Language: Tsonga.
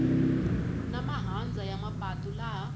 na mahandza ya mapatu laha